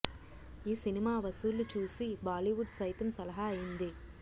ఈ సినిమా వసూళ్లు చూసి బాలీవుడ్ సైతం సలహా అయింది